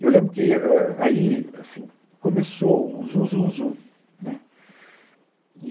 Eu lembro que é, é, é, aí assim, começou um zum, zum, zum, né. E